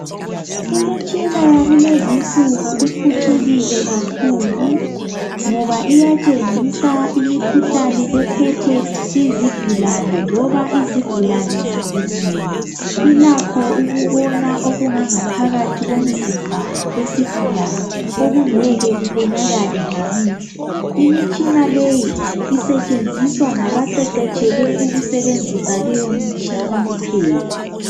Imitshina yakulezinsuku iphucukile kakhulu ngoba iyatshengisa imikhuhlane ephethe izigulane loba izigulane zilimele. Ilakho ukubona okungangaphakathi komzimba wesigulani okungeke kubonakale ngamehlo. Imitshina leyi isetshenziswa ngabaqeqetshele ukusebenzisa leyomtshina kuphela.